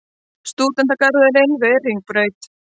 Stúdentagarðurinn við Hringbraut.